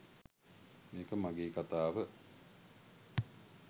මේක මගේ කතාව